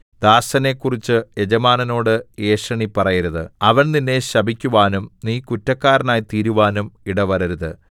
ദാസനെക്കുറിച്ച് യജമാനനോട് ഏഷണി പറയരുത് അവൻ നിന്നെ ശപിക്കുവാനും നീ കുറ്റക്കാരനായിത്തീരുവാനും ഇടവരരുത്